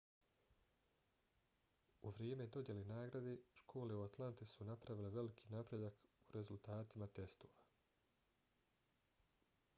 u vrijeme dodjele nagrade škole u atlanti su napravile veliki napredak u rezultatima testova